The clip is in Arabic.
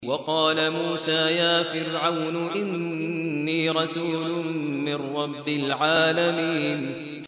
وَقَالَ مُوسَىٰ يَا فِرْعَوْنُ إِنِّي رَسُولٌ مِّن رَّبِّ الْعَالَمِينَ